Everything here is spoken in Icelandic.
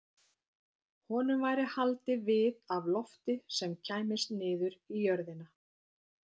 Honum væri haldið við af lofti sem kæmist niður í jörðina.